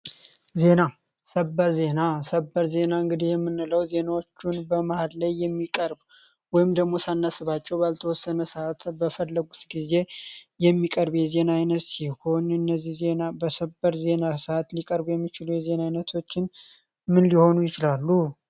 ዜና ሰበር ዜና ሰበር ዜና የምንለው በዜናዎቹ በየመሀል የማቀርብ ወይም ደግሞ ሳናስባቸው በተወሰነ ሰዓት በፈለጉት ጊዜ የሚቀርብ የዜና አይኘት ሲሆን እነዚህ ዜና በሰበር ዜና ሰአት ሊቀርቡ የሚችሉ የዜና አይነቶች ምን ሊሆኑ ይችላሉ?